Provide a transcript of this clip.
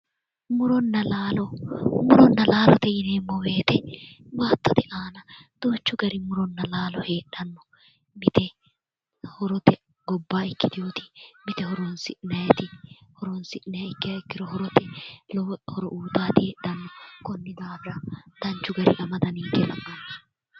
Muronna laalo:-muronna laalote yineemmo woyite baatotte aana duuchu gari muronna laalo heedhanno mite murote gobaanni ikitewotti mite horoonsi'nayiitti horoonsi'nanni ikiro horote lowo horo uuyitannotti konni daafira danchu garinni amada ninke la'anno